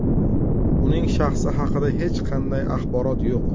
Uning shaxsi haqida hech qanday axborot yo‘q.